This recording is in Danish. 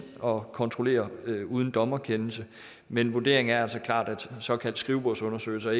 og kontrollere uden dommerkendelse men vurderingen er altså klart at såkaldte skrivebordsundersøgelser